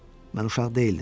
Mən uşaq deyildim.